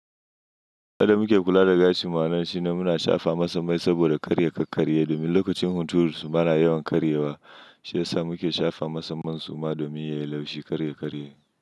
Kada muke kula da gashi ma'anar shi ne muna shafa masammai saboda karya ƙa ƙarya. Domin lokacin hunturu suna yawan karyewa, shi yasa muke shafa masamman suma domin yayi laushi karya ƙa ƙarya.